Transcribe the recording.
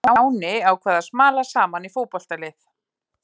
Stjáni ákvað að smala saman í fótboltalið.